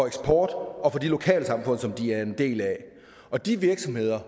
eksport og de lokalsamfund som de er en del af og de virksomheder